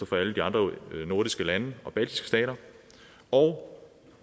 fra alle de andre nordiske lande og baltiske stater og